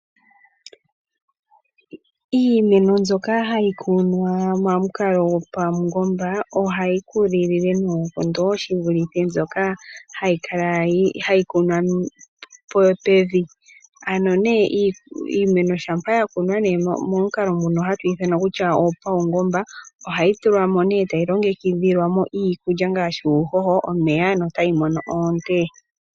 Iimeno mbyoka hai kunwa pamukalo gopaungoba ohai kokelele noonkondo shi vulithe mbyoka hai kunwa pevi. Ano iimena shampa yakunwa pamukalo gopaungoba, ohayi longekidhilwa tayi pewa omeya uuhoho, no tayi mono oonte.